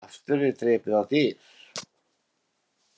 Aftur er drepið á dyr.